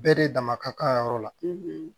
Bɛɛ de dama ka kan yɔrɔ la